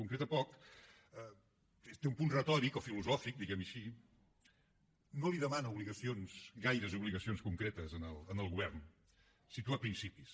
concreta poc té un punt retòric o filosòfic diguem ho així no li demana obligacions gaires obligacions concretes al govern situa principis